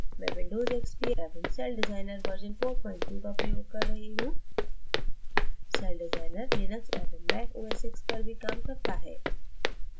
mac windows xp एवं CellDesigner version 43 का प्रयोग कर रही हूँ सेलडिज़ाइनर लिनक्स एवं mac os x पर भी काम करता है